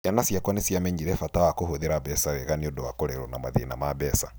Ciana ciakwa nĩ ciamenyire bata wa kũhũthĩra mbeca wega nĩ ũndũ wa kũrerũo na mathĩna ma mbeca.